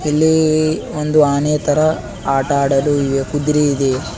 ಇಲ್ಲಿ ಒಂದು ಆನೆ ತರ ಆಟ ಆಡಲು ಇವೆ ಕುದ್ರಿ ಇದೆ.